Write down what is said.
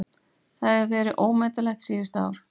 Það hefur verið ómetanlegt síðustu ár!